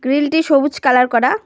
Grill -টি সবুজ colour করা।